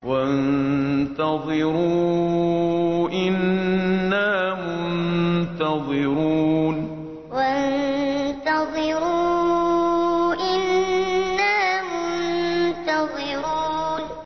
وَانتَظِرُوا إِنَّا مُنتَظِرُونَ وَانتَظِرُوا إِنَّا مُنتَظِرُونَ